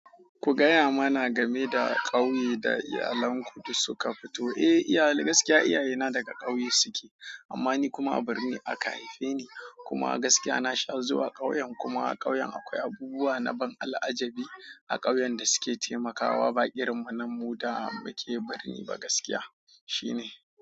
Ku gaya mana game da kauye da iyalen mu da suka fito. Eh, iyali gaskiya iyaye na daga ƙauye suke amma ni kuma a birni aka haife ni kuma gaskiya na sha zuwa ƙauyen kuma a ƙauyen akwai abubuwa na ban al'ajabi a ƙauyen da suke taimakawa baƙin mu na mu da ake birni ba gaskiya shine.